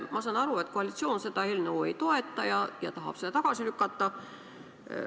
Ma saan aru, et koalitsioon seda eelnõu ei toeta ja tahab seda tagasi lükata.